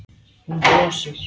Hún brosir.